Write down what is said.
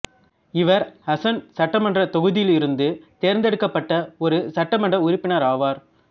இவர் ஹஸன் சட்டமன்றத் தொகுதியிலிருந்து தோ்ந்தெடுக்கப்பட்ட ஒரு சட்டமன்ற உறுப்பினராவார்